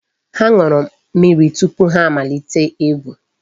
Ha ṅụrụ mmiri tupu ha amalite egwu.